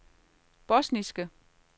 bosniske